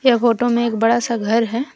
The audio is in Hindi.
यह फोटो में एक बड़ा सा घर है।